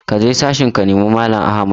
Kaje sashen ka nemi mallam Ahmad!